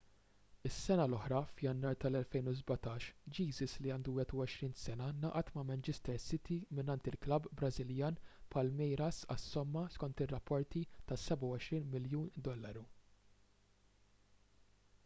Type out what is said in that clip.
is-sena l-oħra f'jannar tal-2017 jesus li għandu 21 sena ngħaqad ma' manchester city mingħand il-klabb brażiljan palmeiras għas-somma skont ir-rapporti ta' £27 miljun